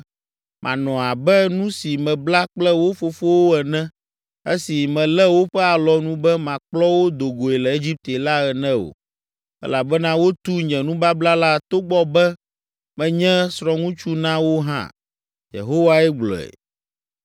Manɔ abe nu si mebla kple wo fofowo ene esi melé woƒe alɔnu be makplɔ wo do goe le Egipte la ene o. Elabena wotu nye nubabla la togbɔ be menye srɔ̃ŋutsu na wo hã,” Yehowae gblɔe.